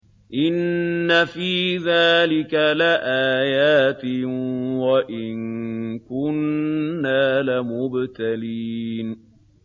إِنَّ فِي ذَٰلِكَ لَآيَاتٍ وَإِن كُنَّا لَمُبْتَلِينَ